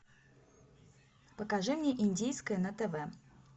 покажи мне индийское на тв